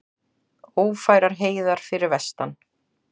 Ófærar heiðar fyrir vestan